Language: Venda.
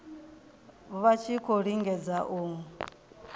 vha tshi khou lingedza u